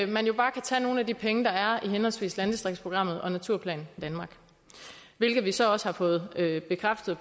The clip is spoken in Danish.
man jo bare kan tage nogle af de penge der er i henholdsvis landdistriktsprogrammet og naturplan danmark hvilket vi så også har fået bekræftet